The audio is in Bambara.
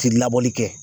Ti labɔli kɛ